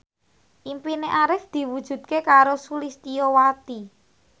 impine Arif diwujudke karo Sulistyowati